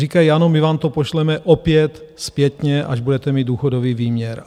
Říkají, ano, my vám to pošleme opět zpětně, až budete mít důchodový výměr.